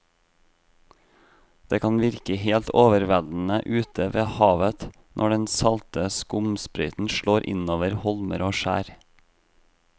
Det kan virke helt overveldende ute ved havet når den salte skumsprøyten slår innover holmer og skjær.